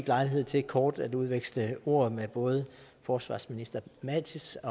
lejlighed til kort at veksle ord med både forsvarsminister mattis